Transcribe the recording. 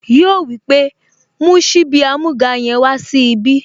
Yíò wípé, "mú síbí amúga yẹn wá sí ibí"